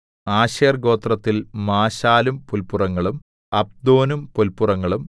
Asher ഗോത്രത്തിൽ മാശാലും പുല്പുറങ്ങളും അബ്ദോനും പുല്പുറങ്ങളും